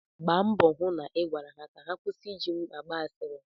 Gbaa mbọ hụ na ị gwara ha ka ha kwụsị ịji m agba asịrị.